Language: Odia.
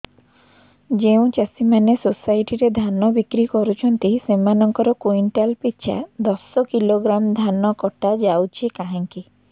ଯେଉଁ ଚାଷୀ ମାନେ ସୋସାଇଟି ରେ ଧାନ ବିକ୍ରି କରୁଛନ୍ତି ସେମାନଙ୍କର କୁଇଣ୍ଟାଲ ପିଛା ଦଶ କିଲୋଗ୍ରାମ ଧାନ କଟା ଯାଉଛି କାହିଁକି